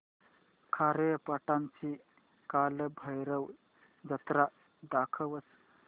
खारेपाटण ची कालभैरव जत्रा दाखवच